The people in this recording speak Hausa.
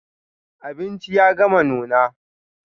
Abinci ya gama nuna.